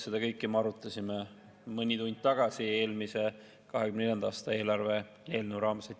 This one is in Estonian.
Seda kõike me arutasime mõni tund tagasi, eelmise, 2024. aasta riigieelarve eelnõu raames.